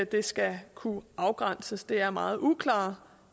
det skal kunne afgrænses for det er meget uklare